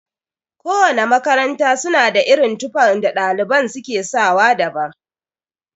Kowana makaranta suna da irin tufan da ɗaliban su ke sawa daban.